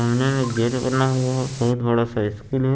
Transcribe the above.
सामने में गेट बना हुआ है बहुत बड़ा स्कूल है।